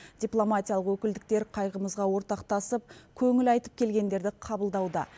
дипломатиялық өкілдіктер қайғымызға ортақтасып көңіл айтып келгендерді қабылдауда